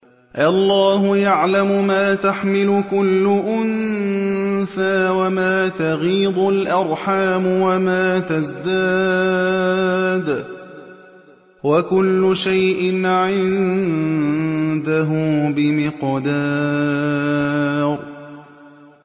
اللَّهُ يَعْلَمُ مَا تَحْمِلُ كُلُّ أُنثَىٰ وَمَا تَغِيضُ الْأَرْحَامُ وَمَا تَزْدَادُ ۖ وَكُلُّ شَيْءٍ عِندَهُ بِمِقْدَارٍ